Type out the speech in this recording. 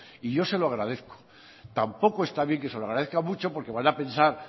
y yo se lo agradezco tampoco está bien que se lo agradezca mucho porque van a pensar